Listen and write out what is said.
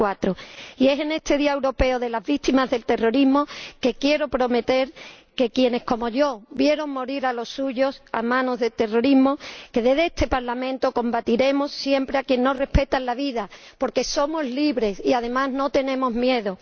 2004. Y en este Día Europeo de las Víctimas del Terrorismo quiero prometer a quienes como yo vieron morir a los suyos a manos del terrorismo que, desde este Parlamento, combatiremos siempre a quienes no respetan la vida, porque somos libres y, además, no tenemos miedo.